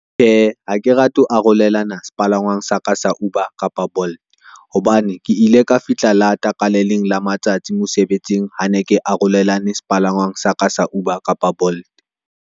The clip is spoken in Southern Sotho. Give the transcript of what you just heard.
Ha ke rate ho arolelana sepalangwang sa ka sa Uber kapa Bolt. Hobane ke ile ka fihla lata ka le leng la matsatsi mosebetsing, ha ne ke arolelane sepalangwang sa ka sa Uber kapa Bolt.